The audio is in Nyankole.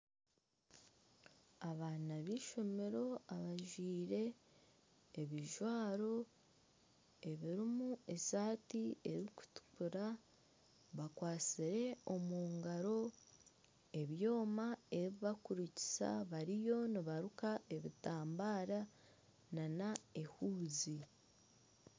Abaana b'eishomero abajwire ebijwaro, ebirimu eshati erikutukura, bakwatsire omu ngaaro, ebyoma ebi barikurukisa bariyo nibaruka ebitambare nana ehuuzi